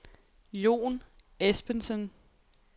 Jon Espensen